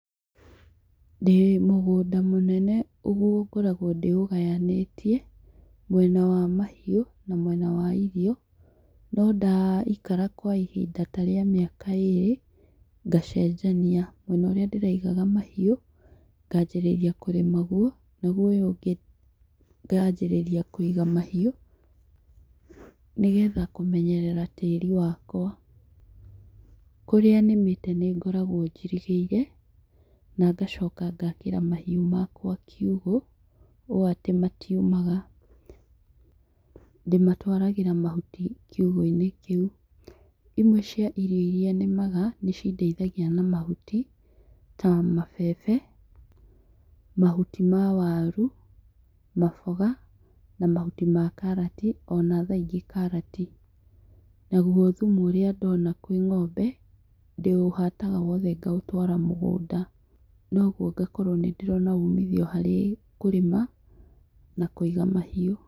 Ndĩ mũgũnda mũnene ngoragwo ndĩ ũgayanĩtie mwena wa mahiũ na mwena wa irio no nda ikara kwa ihinda rĩa mĩaka ĩrĩ ngacenjania, mwena ũrĩa ndĩraigaga mahiũ nganjĩrĩria kũrĩma guo naguo ũyũ ũngĩ nganjĩrĩria kũiga mahiũ, nĩgetha kũmenyerera tĩri wakwa, kũrĩa nĩmĩte nĩ ngoragwo njirigĩire na ngacoka ngakĩra mahiũ makwa kiugũ, ũũ atĩ matiumaga ndĩmatwaragĩra mahuti kiugũ-inĩ kĩu, imwe cia irio iria nĩ maga nĩ cindeithagia na mahuti ta mabebe, mahuti wa waru, maboga, mahuti ma karati ona thaa ingĩ karati, naguo thumu ũrĩa ndona kwĩ ng'ombe ndĩũhataga wothe ngaũtwara mũgũnda noguo ngakorwo nĩ ndĩrona ũmithio harĩ kũrĩma na kũiga mahiũ.